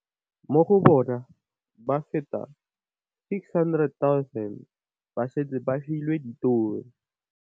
Mo go bona, ba feta 600 000 ba setse ba filwe ditiro.